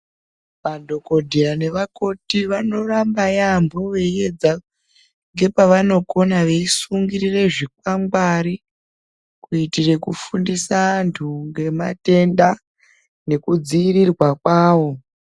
Madhokodheya nevakoti vanoramba yamho veiyedza ngepavanokona veisungirire zvikwangwari kuitire kufindisa anhu ngematenda nekudziirirwa kwawo.